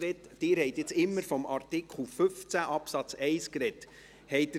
Sie haben jetzt immer von Artikel 15 Absatz 1 gesprochen.